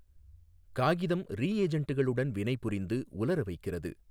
காகிதம் ரீஏஜெண்ட்களுடன் வினைபுரிந்து உலர வைக்கிறது.